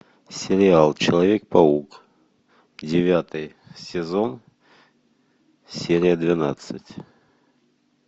сериал человек паук девятый сезон серия двенадцать